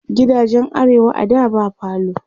gidajen arewa a da ba falo